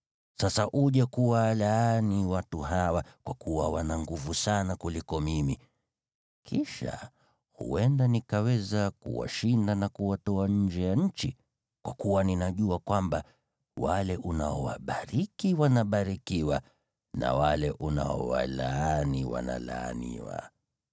Sasa uje kuwalaani watu hawa, kwa kuwa wana nguvu sana kuniliko. Kisha huenda nikaweza kuwashinda na kuwatoa nje ya nchi. Kwa kuwa ninajua kwamba, wale unaowabariki wanabarikiwa na wale unaowalaani wanalaaniwa.”